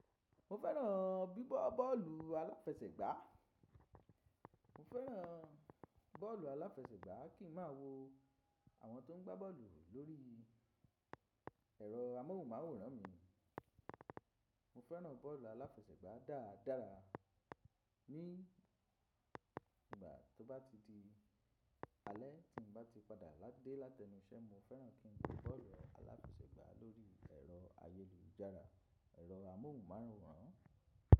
Mo fẹ́ràn gbigba bọ́ọ̀lù aláfẹsẹ̀gbá. Mo feran boolu alafesegba, ki n ma wo awon to n gba boolu lori ero amohunmaworan mi. Mo fẹ́ràn bọ́ọ̀lù aláfẹsẹ̀gbá dáadára. Ni ìgbà tó bá ti di alẹ́ tí mo bá ti padà ládè látẹnusẹ́, mo fẹ́ràn kí n wo bọ́ọ̀lù aláfẹsẹ̀gbá lórí ẹ̀rọ ayélujára, ẹ̀rọ amóhùnmáwòrán.